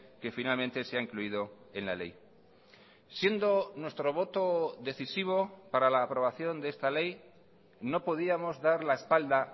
que finalmente se ha incluido en la ley siendo nuestro voto decisivo para la aprobación de esta ley no podíamos dar la espalda